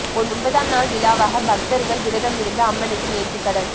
ஒன்பதாம் நாள் விழாவாக பக்தர்கள் விரதம் இருந்து அம்மனுக்கு நேர்த்தி கடன்